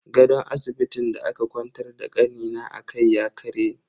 Gadon asibitin da aka kwantar da kanina akai ya karye.